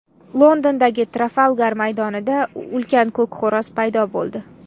Londondagi Trafalgar maydonida ulkan ko‘k xo‘roz paydo bo‘ldi.